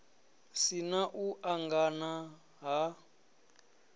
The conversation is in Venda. si na u angana ha